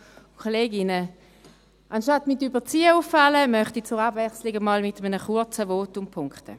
Anstatt mit Überziehen aufzufallen, möchte ich zur Abwechslung einmal mit einem kurzen Votum punkten.